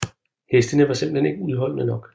Hestene var simpelthen ikke udholdende nok